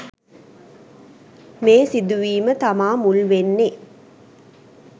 මේ සිදුවීම තමා මුල් වෙන්නෙ.